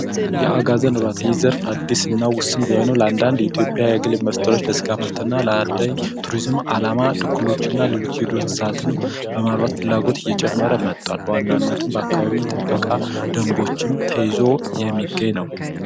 የአጋዘን እርባታ በጣም አዲስና ወሳኝ ቢሆንም የቆዳና ስጋ ምርት እንዲሁም ለአደን ለማርባት ሌሎች የዱር እንስሳትም እየጨመረ የመጣ በዋናነት በአካባቢ ጥበቃ ደንቦችን ተይዞ የሚገኝ ነው።